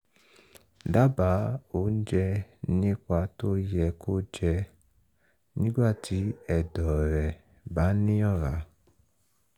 dábàá oúnjẹ nípa tó yẹ kó jẹ nígbà tí ẹ̀dọ̀ rẹ̀ bá ní ọ̀rá